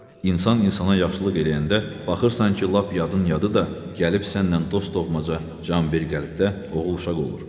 İnsan insana yaxşılıq eləyəndə baxırsan ki, lap yadın yadı da gəlib səndən dost doğmaca, can bir qəlbdə oğul-uşaq olur.